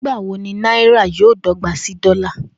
Nigbawo ni naira yoo dọgba si dola?